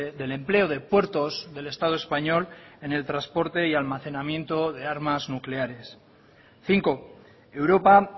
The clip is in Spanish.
del empleo de puertos del estado español en el transporte y almacenamiento de armas nucleares cinco europa